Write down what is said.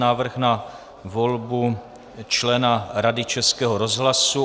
Návrh na volbu členů Rady Českého rozhlasu